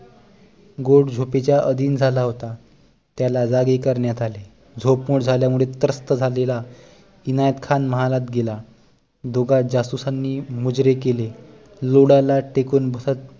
गोड झोपेच्या आधीन झाला होता त्याला जागे करण्यात आले झोप मोड झाल्यामुळे त्रस्त झालेला इनायत खान महालात गेला जुगाड जासुसानी मुजरे केले लोडाला टेकून बसत